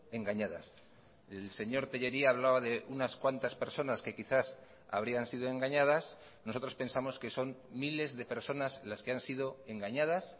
engañadas el señor tellería hablaba de unas cuantas personas que quizás habrían sido engañadas nosotros pensamos que son miles de personas las que han sido engañadas